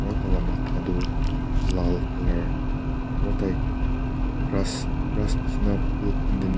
aru taila matha tu laal colour aru tai grass nishina phool khan teh.